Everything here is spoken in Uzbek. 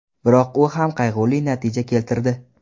Biroq u ham qayg‘uli natija keltirdi.